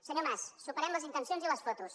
senyor mas superem les intencions i les fotos